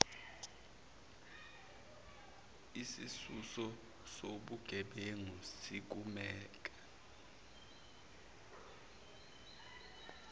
isisusa sobugebengu sisukela